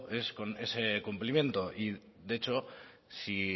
es con ese cumplimiento y de hecho si